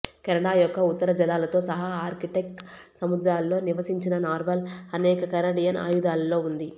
Canada యొక్క ఉత్తర జలాలతో సహా ఆర్కిటిక్ సముద్రాలలో నివసించిన నార్వాల్ అనేక కెనడియన్ ఆయుధాలలో ఉంది